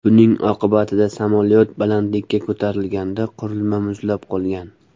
Buning oqibatida samolyot balandlikka ko‘tarilganida qurilma muzlab qolgan.